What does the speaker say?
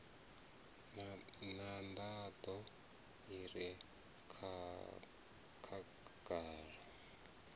na nḓaḓo i re khagala